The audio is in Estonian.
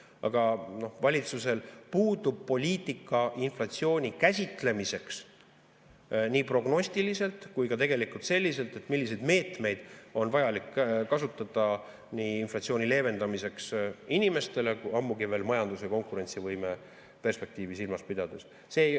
Aga valitsusel puudub poliitika inflatsiooni käsitlemiseks nii prognostiliselt kui ka selliselt, milliseid meetmeid on vaja kasutada inflatsiooni leevendamiseks inimestele, ammugi veel majanduse konkurentsivõime perspektiivi silmas pidades.